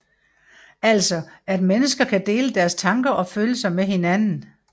Altså at mennesker kan dele deres tanker og følelser med hinanden